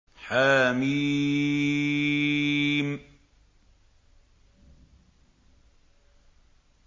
حم